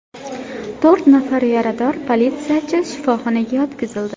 To‘rt nafar yarador politsiyachi shifoxonaga yotqizildi.